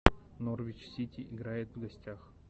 норвич сити играет в гостях